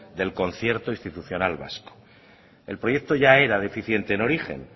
del concierto institucional vasco el proyecto ya era deficiente en origen